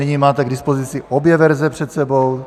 Nyní máte k dispozici obě verze před sebou.